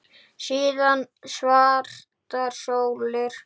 Síðan svartar sólir.